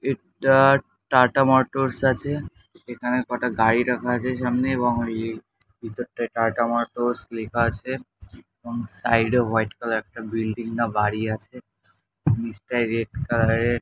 এটা টাটা মোটরস আছে। এখানেকটা কটা গাড়ি রাখা আছে সামনে এবং এর ভিতরটায় টাটা মোটরস লেখা আছে এবং সাইড -এ হোয়াইট কালার -এর একটা বিল্ডিং না বাড়ি আছে। নীচটায় রেড কালার -এর--